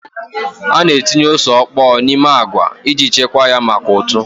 A na-etinye ose ọkpọọ n'ime agwa iji chekwaa ya maka ụtụ.